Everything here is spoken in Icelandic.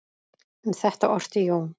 Um þetta orti Jón